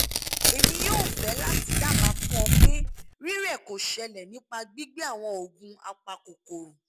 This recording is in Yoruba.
emi yoo fe lati daba fun o pe rire ko sele nipa gbigbe awon oogun apakokoro